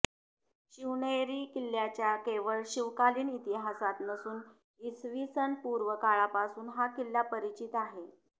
शिवनेरी किल्ल्याला केवळ शिवकालीन इतिहास नसून इसवीसनपूर्व काळापासून हा किल्ला परिचित आहे